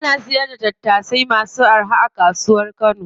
Ana sayar da tattasai masu araha a kasuwar kano.